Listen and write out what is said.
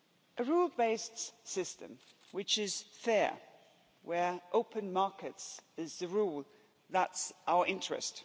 A rule based system which is fair, where open markets is the rule, that's our interest.